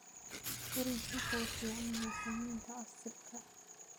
Orange wuxuu u fiican yahay samaynta casiirka.